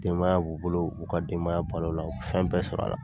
Denbaya b'u bolo, u b'u ka denbaya bal'o la, u be fɛn bɛɛ sɔr'a la.